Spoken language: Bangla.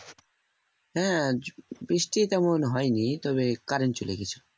হ্যাঁ বৃষ্টি তেমন হয়নি তবে current চলে গেছিলো